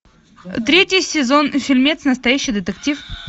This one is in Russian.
третий сезон фильмец настоящий детектив